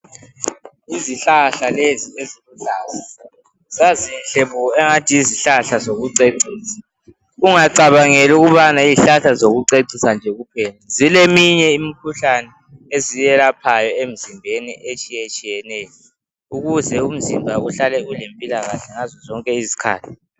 Izihlahla lezi eziluhlaza zazinhle bo engathi yizihlahla zokucecisa ungacabangeli ukubana yizihlahla zokucecisa nje kuphela zileminye imikhuhlane eziyelaphayo emizimbeni etshiye tshiyeneyo ukuze umzimba uhlale ulempilo kahle ngazo zonke izikhathi